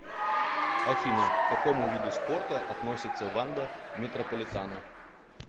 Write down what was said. афина к какому виду спорта относится ванда метрополитано